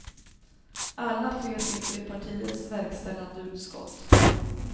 Alla tre sitter i partiets verkställande utskott.